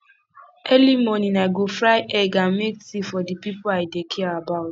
early morning i go fry egg and make tea for di people i dey care about